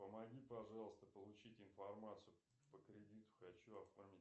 помоги пожалуйста получить информацию по кредиту хочу оформить